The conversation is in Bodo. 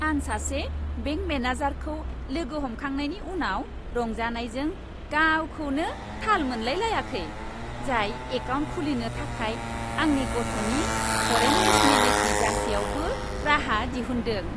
आं सासे बेंक मेनेजारखौ लोगो हमखांनायनि उनाव रंजानायजों गावखौनो थाल मोनलायाखै, जाय एकाउन्ट खुलिनो थाखाय आंनि गथ'नि फरेन नेसनेलिटि जासेयावबो राहा दिहुन्दों।